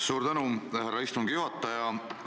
Suur tänu, härra istungi juhataja!